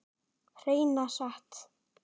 Hreina satt.